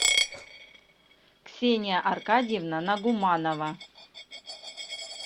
ксения аркадьевна нагуманова